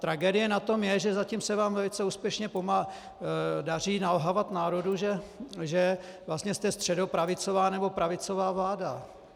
Tragédie na tom je, že zatím se vám velice úspěšně daří nalhávat národu, že vlastně jste středopravicová nebo pravicová vláda.